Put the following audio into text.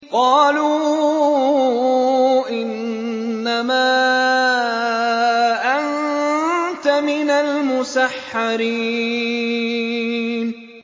قَالُوا إِنَّمَا أَنتَ مِنَ الْمُسَحَّرِينَ